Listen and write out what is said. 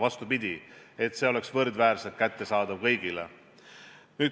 Vastupidi, see peab olema võrdväärselt kättesaadav kõigile.